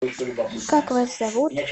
как вас зовут